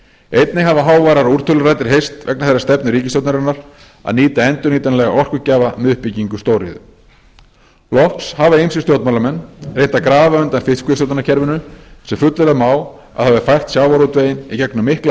einnig hafa háværar úrtöluraddir heyrst vegna þeirrar stefnu ríkisstjórnarinnar að nýta endurnýjanlega orkugjafa með uppbyggingu stóriðju loks hafa ýmsir stjórnmálamenn reynt að grafa undan fiskveiðistjórnarkerfinu sem fullyrða má að hafi fært sjávarútveginn í gegnum mikla